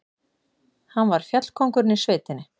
Hann var fjallkóngurinn í sveitinni.